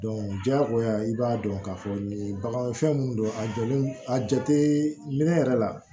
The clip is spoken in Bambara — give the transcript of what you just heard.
diyagoya i b'a dɔn k'a fɔ nin bagan fɛn mun don a jɔlen a jate minɛ yɛrɛ la